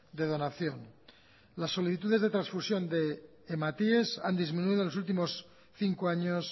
de donación las solicitudes de transfusión de hematíes han disminuido en los últimos cinco años